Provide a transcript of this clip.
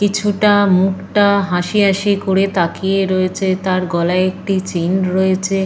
কিছুটা মুখটা হাসি হাসি করে তাকিয়ে রয়েছে। তার গলায় একটি চেইন রয়েছে।